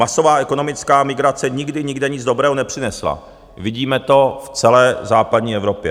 Masová ekonomická migrace nikdy nikde nic dobrého nepřinesla, vidíme to celé v západní Evropě.